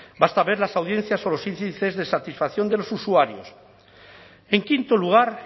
basta ver las audiencias o los índices de satisfacción de los usuarios en quinto lugar